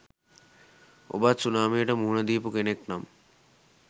ඔබත් සුනාමියට මුහුණ දීපු කෙනෙක් නම්